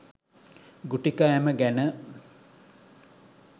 ගුටි කෑම ගැන